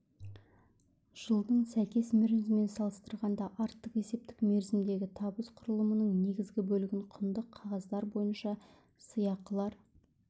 жылдың сәйкес мерзімімен салыстырғанда артық есептік мерзімдегі табыс құрылымының негізгі бөлігін құнды қағаздар бойынша сыйақылар